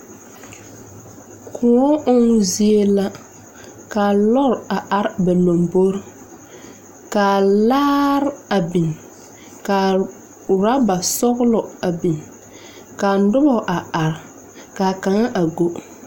Kõɔ ɔmmo zie la. Ka lɔɔre are ba lombori. Ka laare a biŋ. Ka oraba sɔgelɔ a biŋ . ka noba a are, ka kaŋa a go.